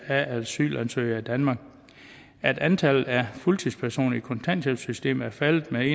af asylansøgere i danmark at antallet af fuldtidspersoner i kontanthjælpssystemet er faldet med